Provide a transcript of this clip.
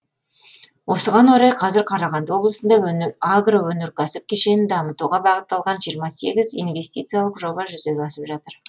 осыған орай қазір қарағанды облысында агроөнеркәсіп кешенін дамытуға бағытталған жиырма сегіз инвестициялық жоба жүзеге асып жатыр